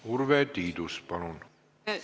Urve Tiidus, palun!